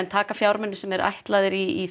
taka fjármuni sem eru ætlaðir í